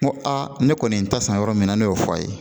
N ko a ne kɔni ye n ta san yɔrɔ min na ne y'o fɔ a ye